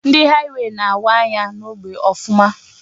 Ndị haịwey na-awa anya n'ógbè Ọfụma.